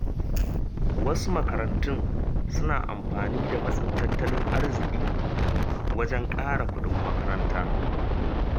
Wasu makarantun suna amfani da matsin tattalin arziƙi wajen ƙara kuɗin makaranta.